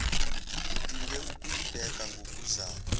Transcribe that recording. udinge ukuyibheka ngokuzayo